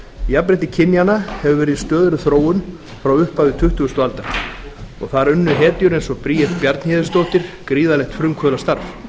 jafnrétti kynjanna hefur verið í stöðugri þróun frá upphafi tuttugustu aldar og þar unnu hetjur eins og bríet bjarnhéðinsdóttir gríðarlegt frumkvöðlastarf